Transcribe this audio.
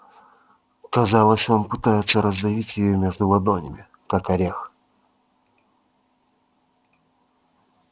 казалось он пытается раздавить её между ладонями как орех